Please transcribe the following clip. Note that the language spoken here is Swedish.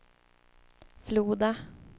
Floda